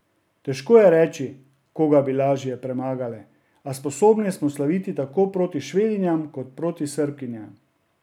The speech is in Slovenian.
Težko je reči, koga bi lažje premagale, a sposobne smo slaviti tako proti Švedinjam kot proti Srbkinjam.